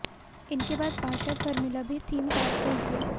इनके बाद पार्षद फर्मिला भी थीम पार्क पहुंच गईं